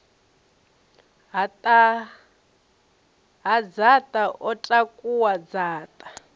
ha dzaṱa o takuwa dzaṱa